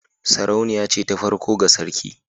Sarauniya ce ta farko ga sarki